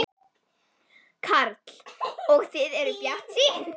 Karl: Og þið eruð bjartsýn?